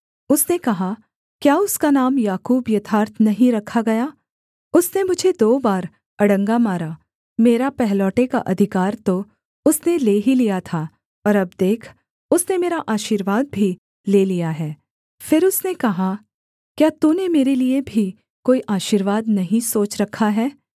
उसने कहा क्या उसका नाम याकूब यथार्थ नहीं रखा गया उसने मुझे दो बार अड़ंगा मारा मेरा पहलौठे का अधिकार तो उसने ले ही लिया था और अब देख उसने मेरा आशीर्वाद भी ले लिया है फिर उसने कहा क्या तूने मेरे लिये भी कोई आशीर्वाद नहीं सोच रखा है